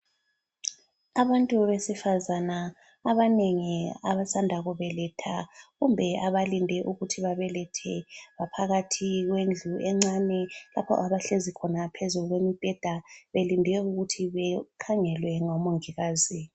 Abantu besifazana abanengi abasanda kubeletha kumbe abalinde ukuthi babelethe ngaphakathi kwendlu encane lapho abahlezi khona phezu kombheda belinde ukuthi bekhangelwe ngomongikazi.